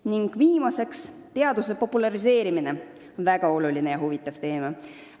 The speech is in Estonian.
Ning viimaseks: teaduse populariseerimine, väga oluline ja huvitav teema.